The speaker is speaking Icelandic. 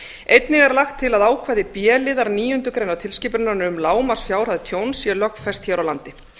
einnig er lagt til að ákvæði b liðar níundu greinar tilskipunarinnar um lágmarksfjárhæð tjóns sé lögfest hér á landi